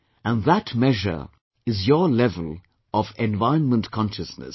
And that measure is your level of environment consciousness